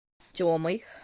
темой